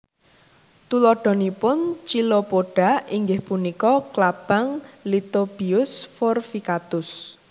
Tuladhanipun Chilopoda inggih punika klabang Lithobius forficatus